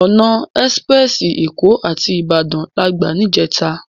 Òná èsipirèsi Ékò àti Ibadan làgbá nijètá